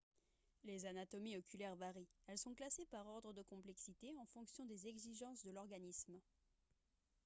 les anatomies oculaires varient elles sont classées par ordre de complexité en fonction des exigences de l'organisme